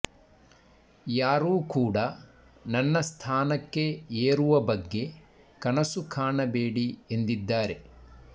ಯಾರೂ ಕೂಡ ನನ್ನ ಸ್ಥಾನಕ್ಕೆ ಏರುವ ಬಗ್ಗೆ ಕನಸು ಕಾಣಬೇಡಿ ಎಂದಿದ್ದಾರೆ